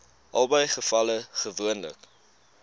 albei gevalle gewoonlik